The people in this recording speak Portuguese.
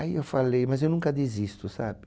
Aí eu falei, mas eu nunca desisto, sabe?